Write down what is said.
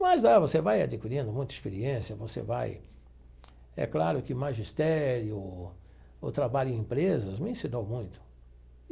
Mas aí você vai adquirindo muita experiência, você vai... É claro que magistério ou trabalho em empresas me ensinou muito.